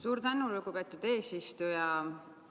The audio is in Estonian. Suur tänu, lugupeetud eesistuja!